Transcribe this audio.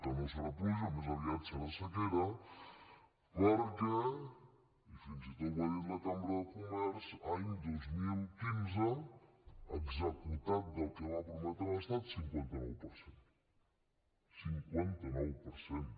que no serà pluja més aviat serà sequera perquè i fins i tot ho ha dit la cambra de comerç any dos mil quinze executat del que va prometre l’estat cinquanta nou per cent cinquanta nou per cent